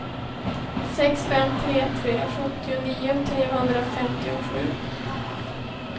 sex fem tre tre sjuttionio trehundrafemtiosju